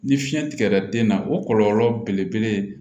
Ni fiɲɛ tigɛra den na o kɔlɔlɔ belebele ye